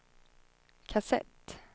kassett